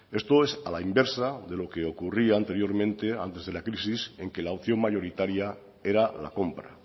esto es a la inversa de lo que ocurría anteriormente antes de la crisis en la que la opción mayoritaria era la compra